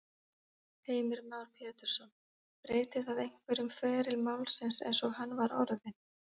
Heimir Már Pétursson: Breytir það einhverju um feril málsins eins og hann var orðinn?